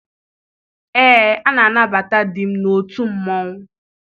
Ee, a na-anabata di m n'otu mmanwụ.